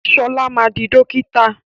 Ṣọlá ma di dókítà!